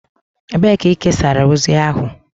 Ebee ka ị kesara ozi ahụ?